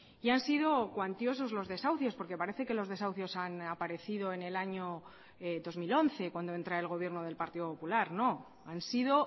y han sido cuantiosos los desahucios porque parece que los desahucios han aparecido en el año dos mil once cuando entra el gobierno del partido popular no han sido